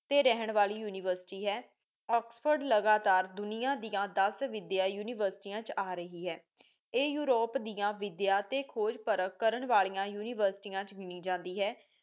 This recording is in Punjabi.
ਓਥੇ ਰਹਿਣ ਵਾਲੀ ਯੂਨੀਵਰਸਿਟੀ ਹੈ ਓਕ੍ਸ੍ਫੋਰਡ ਲਗਾਤਾਰ ਦੁਨਿਆਂ ਦਿਆਂ ਦਸ ਵਿਦਿਆਂ ਯੂਨੀਵਰਸਿਟੀਆਂ ਚ ਆ ਰਹੀ ਹੈ ਇਹ ਯੂਰੋਪ ਦਿਆਂ ਵਿਦਿਆ ਤੇ ਖੋਜ ਪਰਖ ਕਰਨ ਵਾਲੀਆਂ ਯੂਨੀਵਰਸਿਟੀਆਂ ਚ ਗਿਨੀ ਜਾਂਦੀ ਹੈ